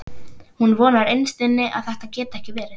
Hún vonar innst inni að þetta geti ekki verið.